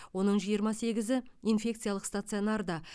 оның жиырма сегізі инфекциялық стационарда